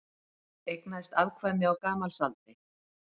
Eignaðist afkvæmi á gamalsaldri